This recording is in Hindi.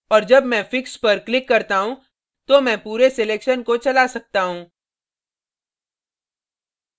और जब मैं fix पर click करता हूँ तो मैं पूरे selection को चला सकता हूँ